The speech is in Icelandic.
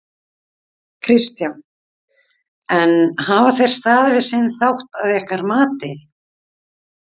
Kristján: En hafa þeir staðið við sinn þátt að ykkar mati?